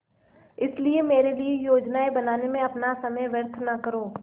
इसलिए मेरे लिए योजनाएँ बनाने में अपना समय व्यर्थ न करो